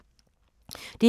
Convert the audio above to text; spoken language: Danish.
DR2